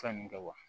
Fɛn mun kɛ wa